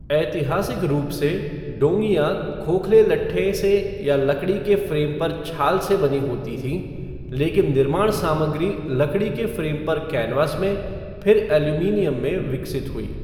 ऐतिहासिक रूप से, डोंगियाँ खोखले लट्ठे से या लकड़ी के फ़्रेम पर छाल से बनी होती थीं, लेकिन निर्माण सामग्री लकड़ी के फ़्रेम पर कैनवास में, फिर एल्यूमीनियम में विकसित हुई।